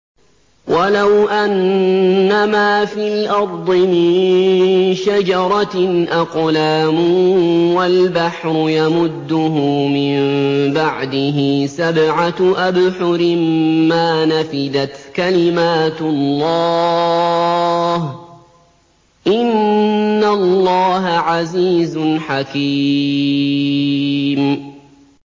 وَلَوْ أَنَّمَا فِي الْأَرْضِ مِن شَجَرَةٍ أَقْلَامٌ وَالْبَحْرُ يَمُدُّهُ مِن بَعْدِهِ سَبْعَةُ أَبْحُرٍ مَّا نَفِدَتْ كَلِمَاتُ اللَّهِ ۗ إِنَّ اللَّهَ عَزِيزٌ حَكِيمٌ